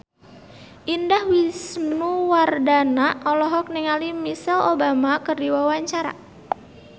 Indah Wisnuwardana olohok ningali Michelle Obama keur diwawancara